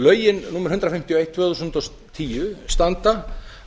lögin númer hundrað fimmtíu og eitt tvö þúsund og tíu standa